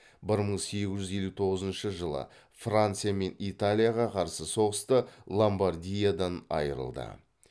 бір мың сегіз жүз елу тоғызыншы франция мен италияға қарсы соғыста ломбардиядан айырылды